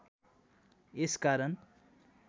यस कारण